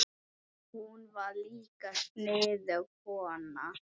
Hún var líka sniðug kona.